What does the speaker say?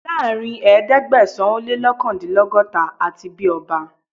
Láàárín ẹ̀ẹ́dẹ́gbẹ̀sán - o-lé-lọ́kàndínlọ́gọ́ta, a ti bí ọba